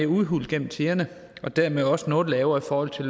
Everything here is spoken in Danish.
udhulet gennem tiderne og dermed også noget lavere i forhold til